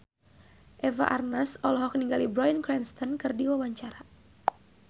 Eva Arnaz olohok ningali Bryan Cranston keur diwawancara